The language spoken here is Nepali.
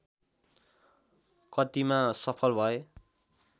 कतिमा सफल भए